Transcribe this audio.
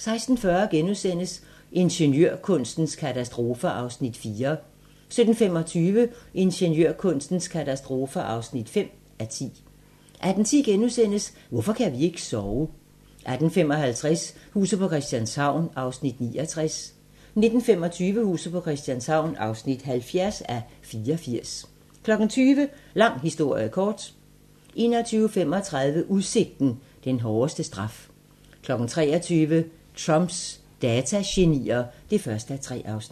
16:40: Ingeniørkunstens katastrofer (4:10)* 17:25: Ingeniørkunstens katastrofer (5:10) 18:10: Hvorfor kan vi ikke sove? * 18:55: Huset på Christianshavn (69:84) 19:25: Huset på Christianshavn (70:84) 20:00: Lang historie kort 21:35: Udsigten - den hårdeste straf 23:00: Trumps datagenier (1:3)